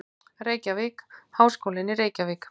Reykjavík: Háskólinn í Reykjavík.